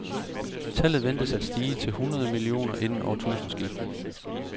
Tallet ventes at stige til hundrede millioner inden årtusindeskiftet.